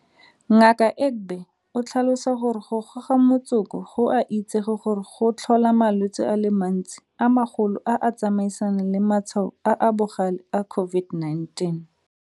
Ngaka Egbe o tlhalosa gore go goga motsoko go a itsege gore go tlhola malwetse a le mantsi a magolo a a tsamaisanang le matshwao a a bogale a COVID-19.